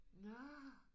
Nåh!